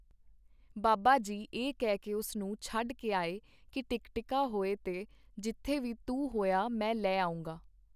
ਬਾਬਾ ਜੀ ਇਹ ਕਹਿ ਕੇ ਉਸ ਨੂੰ ਛੱਡ ਕੇ ਆਏ ਕੀ ਟਿਕਟਿਕਾ ਹੋਏ ਤੇ ਜਿੱਥੇ ਵੀ ਤੂੰ ਹੋਇਆ ਮੈਂ ਲੈ ਆਊਂਗਾ.